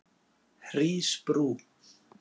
Hrísbrú